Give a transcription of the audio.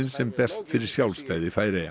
sem berst fyrir sjálfstæði Færeyja